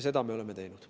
Seda me oleme teinud.